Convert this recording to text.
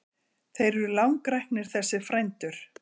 Þeir eru langræknir þessir frændur.